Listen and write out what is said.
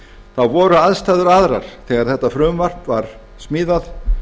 þá voru aðstæður aðrar þegar þetta frumvarp var smíðað